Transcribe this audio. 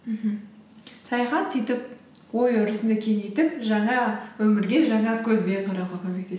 мхм саяхат сөйтіп ой өрісіңді кеңейтіп жаңа өмірге жаңа көзбен қарауға